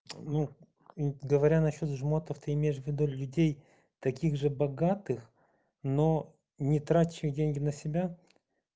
ну говоря насчёт жмотов ты имеешь в виду людей таких же богатых но не тратящих деньги на себя